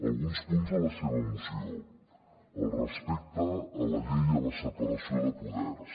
alguns punts de la seva moció el respecte a la llei i a la separació de poders